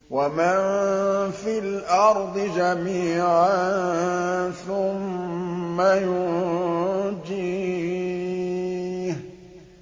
وَمَن فِي الْأَرْضِ جَمِيعًا ثُمَّ يُنجِيهِ